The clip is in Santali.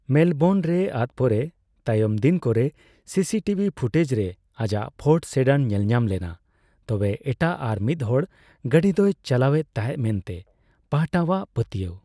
ᱢᱮᱞᱵᱳᱨᱱᱨᱮ ᱟᱫ ᱯᱚᱨᱮ ᱛᱟᱭᱚᱢ ᱫᱤᱱᱠᱚᱨᱮ ᱥᱤᱥᱤᱴᱤᱵᱷᱤ ᱯᱷᱩᱴᱮᱡᱽᱨᱮ ᱟᱭᱟᱜ ᱯᱷᱳᱨᱰ ᱥᱮᱰᱟᱱ ᱧᱮᱞᱧᱟᱢ ᱞᱮᱱᱟ, ᱛᱚᱵᱮ ᱮᱴᱟᱜ ᱟᱨᱢᱤᱫᱦᱚᱲ ᱜᱟᱹᱰᱤ ᱫᱚᱭ ᱪᱟᱞᱟᱣ ᱮᱫ ᱛᱟᱦᱮᱸᱫ ᱢᱮᱱ ᱛᱮ ᱯᱟᱦᱴᱟᱣᱟᱜ ᱯᱟᱹᱛᱭᱟᱹᱣ ᱾